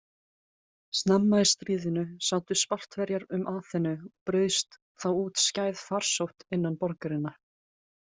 Snemma í stríðinu sátu Spartverjar um Aþenu og braust þá út skæð farsótt innan borgarinnar.